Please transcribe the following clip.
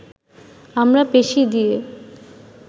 আমরা পেশি দিয়ে